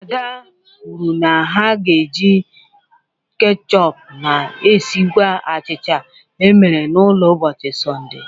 Ada kwuru na ha ga-eji ketchup na-esikwa achịcha e mere n'ụlọ n'ụbọchị Sọnde.